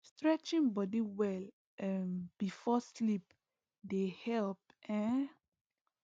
stretching body well um before sleep dey help um